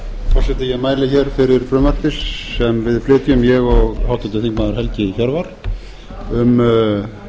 ég mæli hér fyrir frumvarpi sem við flytjum ég og háttvirtur þingmaður helgi hjörvar um